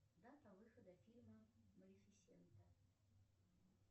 дата выхода фильма малифисента